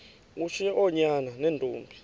ushiye oonyana neentombi